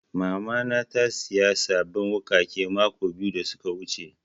Mama na ta saya sabbin wuƙaƙe mako biyu da suka wuce